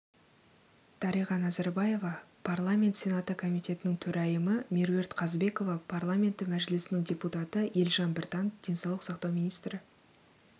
дариға назарбаева парламент сенаты комитетінің төрайымы меруерт қазбекова парламенті мәжілісінің депутаты елжан біртанов денсаулық сақтау министрі